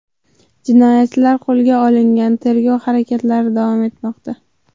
Jinoyatchilar qo‘lga olingan, tergov harakatlari davom etmoqda.